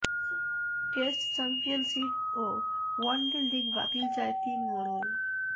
test championship ও one day league বাতিল চায় তিন মোড়ল